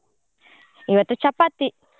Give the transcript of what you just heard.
ಇವತ್ತು ಚಪಾತಿ.